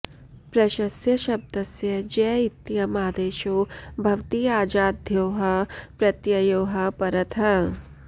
प्रशस्य शब्दस्य ज्य इत्ययम् आदेशो भवति अजाद्योः प्रत्यययोः परतः